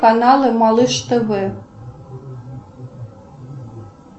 каналы малыш тв